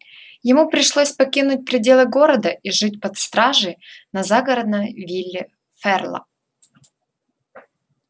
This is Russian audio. ему пришлось покинуть пределы города и жить под стражей на загородной вилле ферла